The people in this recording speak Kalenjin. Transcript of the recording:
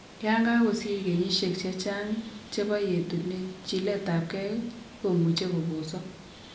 Yon kagosir kenyiesiek chechang' chebo yetunet, chiletabgei komuch kobosok